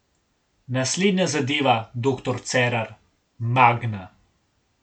Naslednja zadeva, doktor Cerar, Magna.